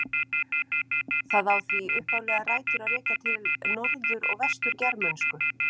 Það á því upphaflega rætur að rekja bæði til norður- og vestur-germönsku.